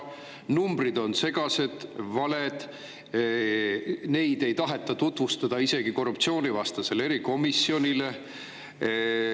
Numbrid on segased, valed, neid ei taheta tutvustada isegi korruptsioonivastasele erikomisjonile.